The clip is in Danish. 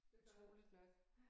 Utroligt nok